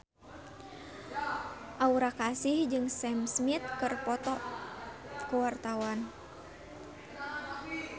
Aura Kasih jeung Sam Smith keur dipoto ku wartawan